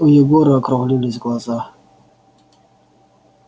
у егора округлились глаза